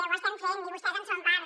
ho estem fent i vostès en són part